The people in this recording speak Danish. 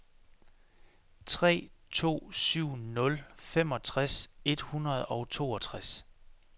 tre to syv nul femogtres et hundrede og toogtres